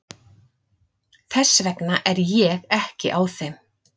Þess vegna er ég ekki á þeim.